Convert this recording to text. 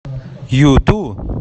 юту